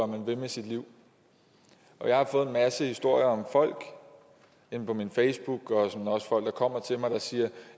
man vil med sit liv og jeg har fået en masse historier om folk inde på min facebook og også folk kommer til mig og siger